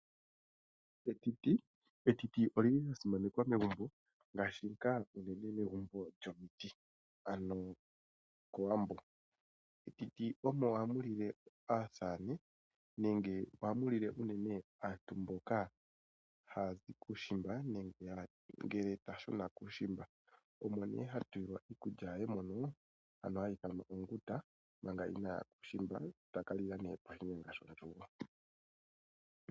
Etiti olya simanekwa megumbo ngaashi ngaa unene megumbo lyomiti, ano kOwambo. Metiti omo hamu lile aasamane nenge ohamu lile unene aantu mboka haya zi kuushimba nenge ngele ta shuna kuushimba, omo nee ha tulilwa iikulya ye mono, hayi ithanwa onguta manga inaaya kuushimba ta ka lila nee poshinyanga shondjugo.